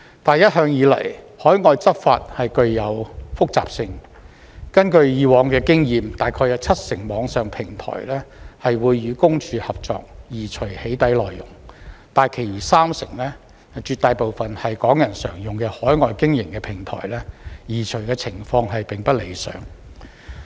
但是，一向以來，海外執法具有複雜性，根據以往經驗，大概有七成網上平台會與私隱公署合作，移除"起底"內容，但其餘三成，絕大部分是港人常用的在海外經營的平台，移除情況並不理想。